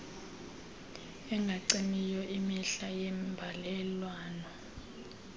engacimiyo imihla yeembalelwano